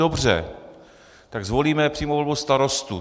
Dobře, tak zvolíme přímou volbu starostů.